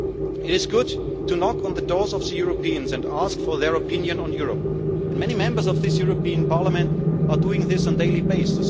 It is good to knock on the doors of Europeans and ask for their opinion on Europe, and many Members of this European Parliament are doing this on a daily basis